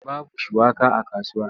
Babu shuwaka a kasuwa.